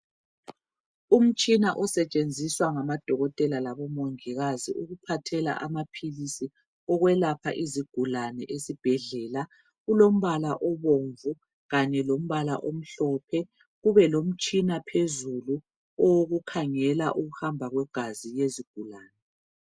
umtshina usetshenziswa ngamadokotela labo mongikazi ukuphathela amaphilisi ukwelapha izigulane ezibhedlela ulombala obomvu kanye lombala omhlophe kube lomtshina phezulu owokukhangela ukuhamba kwegazi lezigulane